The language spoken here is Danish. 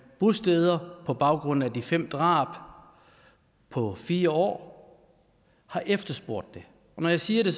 bosteder på baggrund af de fem drab på fire år har efterspurgt det når jeg siger det